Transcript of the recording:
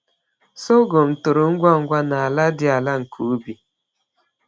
Sọgọm toro ngwa ngwa n’ala dị ala nke ubi.